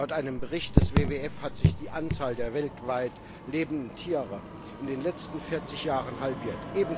Laut einem Bericht des WWF hat sich die Anzahl der weltweit lebenden Tiere in den letzten 40 Jahren halbiert.